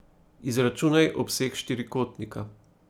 Izračunaj obseg štirikotnika.